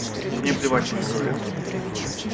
мне плевать пусть говорят